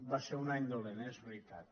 va ser un any dolent és veritat